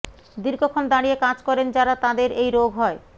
দীর্ঘক্ষণ দাঁড়িয়ে কাজ করেন যাঁরা তাঁদের এই রোগ হয়